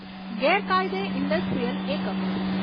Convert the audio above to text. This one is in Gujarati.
ગેરકાયદે ઇન્ડસ્ટ્રીયલ એકમો